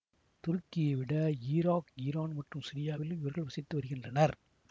துருக்கியை விட Iraq Iran மற்றும் சிரியாவிலும் இவர்கள் வசித்து வருகின்றனர்